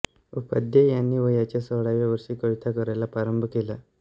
उपाध्ये यांनी वयाच्या सोळाव्या वर्षी कविता करायला प्रारंभ केला